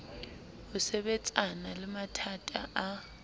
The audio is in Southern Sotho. ho sebetsana le mathata a